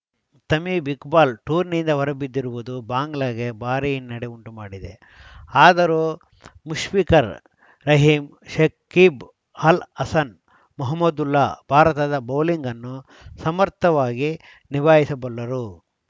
Tamim Iqbal ಟೂರ್ನಿಯಿಂದ ಹೊರಬಿದ್ದಿರುವುದು ಬಾಂಗ್ಲಾಗೆ ಭಾರೀ ಹಿನ್ನಡೆ ಉಂಟು ಮಾಡಿದೆ ಆದರೂ ಮುಷ್ಫಿಕರ್‌ ರಹೀಂ ಶಕೀಬ್‌ ಅಲ್‌ ಹಸನ್‌ ಮಹಮದ್ದುಲ್ಲಾ ಭಾರತದ ಬೌಲಿಂಗ್‌ ಅನ್ನು ಸಮರ್ಥವಾಗಿ ನಿಭಾಯಿಸಬಲ್ಲರು